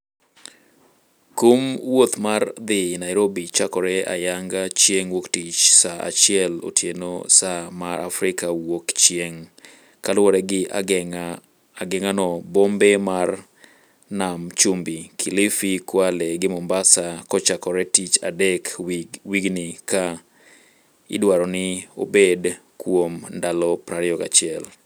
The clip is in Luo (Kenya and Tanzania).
Kumo wuoth mar dhi Nairobi chakore ayanga chieng' wuok tich saa achiel otieno saa mar Afrika wuok chieng'. Kaluore gi ageng'anobombe mar nam chumbi: kilifi, Kwale gi Mombasa kochakore tich adek wigni ka idwaroni obed kuom ndalo 21.